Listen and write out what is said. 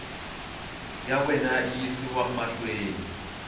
ya wena yi yisiwa mahlweni